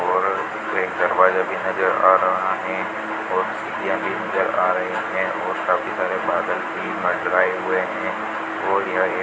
और एक दरवाजा भी नजर आ रहा हैं और भी नजर आ रहीं हैं और काफी सारे बादल भी मंडराए हुए हैं और यह एक --